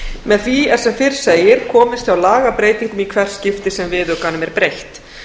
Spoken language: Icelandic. með því er sem fyrr segir komist hjá lagabreytingum í hvert skipti sem viðaukanum er breytt